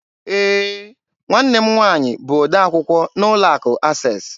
Ee, nwanne m nwaanyị bụ odee akwụkwọ n'ụlọ akụ Access.